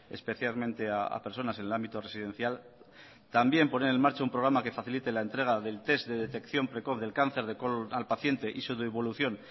especialmente a personas en el ámbito residencial también poner en marcha un programa que facilite la entrega del test de detección precoz del cáncer de colon al paciente y su devolución